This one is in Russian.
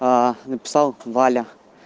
написал валя